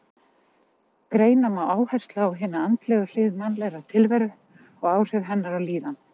Greina má áherslu á hina andlegu hlið mannlegrar tilveru og áhrif hennar á líðan.